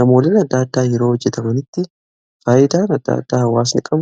gamooleen adda addaa yeroo hojjetamanitti faayidaa guddaa qabu.